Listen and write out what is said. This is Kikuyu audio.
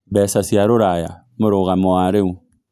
mbeca cia rũraya mũrugamo wa rĩu